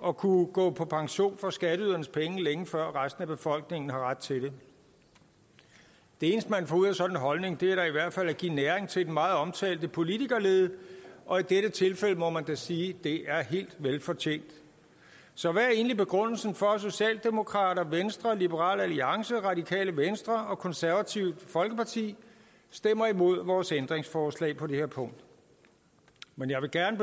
og kunne gå på pension for skatteydernes penge længe før resten af befolkningen har ret til det det eneste man får ud af sådan en holdning er da i hvert fald at give næring til den meget omtalte politikerlede og i dette tilfælde må man da sige at det er helt velfortjent så hvad er egentlig begrundelsen for at socialdemokrater venstre liberal alliance radikale venstre og det konservative folkeparti stemmer imod vores ændringsforslag på det her punkt men jeg vil gerne